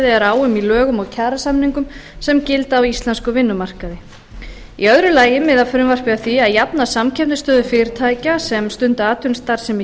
er á um í lögum og kjarasamningum sem gilda á íslenskum vinnumarkaði í öðru lagi miðar frumvarpið að því að jafna samkeppnisstöðu fyrirtækja sem stunda atvinnustarfsemi